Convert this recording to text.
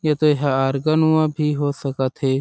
ये तो हारगनवा भी हो सकत हे।